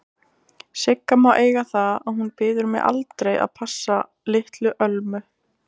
Sigga má eiga það að hún biður mig aldrei að passa litlu Ölmu.